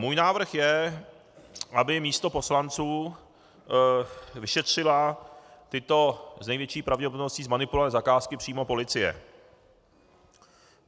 Můj návrh je, aby místo poslanců šetřila tyto s největší pravděpodobností zmanipulované zakázky přímo policie.